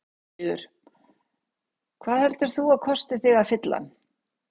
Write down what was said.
Sigríður: Hvað heldur þú að kosti þig að fylla hann?